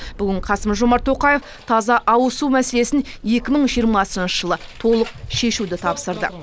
бүгін қасым жомарт тоқаев таза ауызсу мәселесін екі мың жиырмасыншы жылы толық шешуді тапсырды